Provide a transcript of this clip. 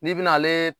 N'i bena ale